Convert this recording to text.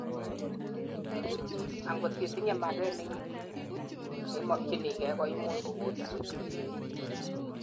angot itinyei maget neimokyinigei koimuch kogolin